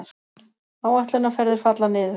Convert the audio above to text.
Áætlunarferðir falla niður